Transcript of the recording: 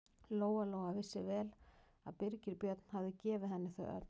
Lóa-Lóa vissi vel að Birgir Björn hafði gefið henni þau öll.